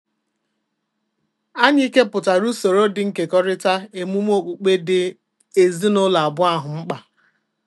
Anyị kepụtara usoro dị nkekọrịta emume okpukpe dị ezinụlọ abụọ ahụ mkpa